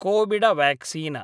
Covid vaccine